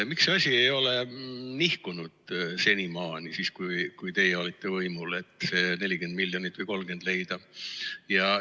Miks see asi ei ole nihkunud senimaani, siis, kui teie olite võimul, et see 30 või 40 miljonit leida?